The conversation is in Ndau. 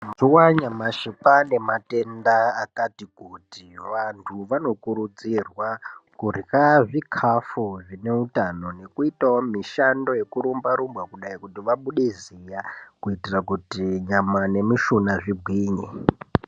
Mazuva anyamashi kwaane matenda akati kuti, vantu vanokurudzirwa kurya zvikafu zvine utano nekuitawo mishando yekurumba rumba kudai kuitira kuti nyama nemushuna zvigwinye.